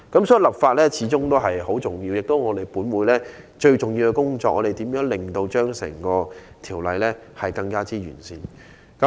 所以，立法始終很重要，亦是本會最重要的工作，就是如何令整項《條例草案》更完善。